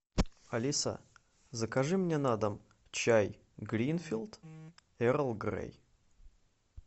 алиса закажи мне на дом чай гринфилд эрл грей